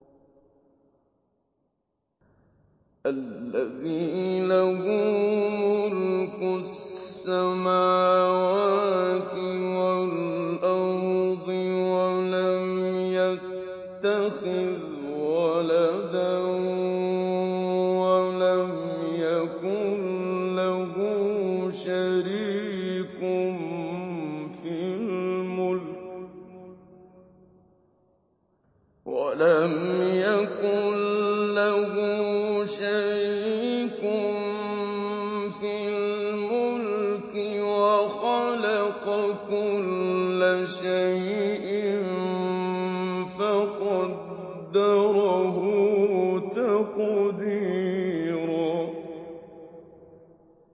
الَّذِي لَهُ مُلْكُ السَّمَاوَاتِ وَالْأَرْضِ وَلَمْ يَتَّخِذْ وَلَدًا وَلَمْ يَكُن لَّهُ شَرِيكٌ فِي الْمُلْكِ وَخَلَقَ كُلَّ شَيْءٍ فَقَدَّرَهُ تَقْدِيرًا